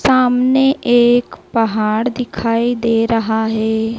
सामने एक पहाड़ दिखाई दे रहा है।